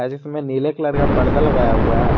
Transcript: जीसमें नीले कलर का पर्दा लगाया हुआ है।